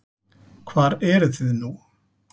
Hvar eruð þið nú?